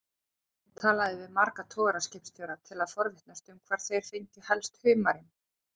Ég talaði við marga togaraskipstjóra til að forvitnast um hvar þeir fengju helst humarinn.